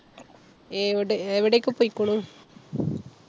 ഏവ്ടെ എവിടേക്കെ പോയ്ക്കുണൂ?